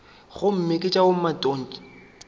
gomme ke tša bomatontshe ba